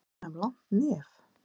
Eruð þið að gefa þeim langt nef?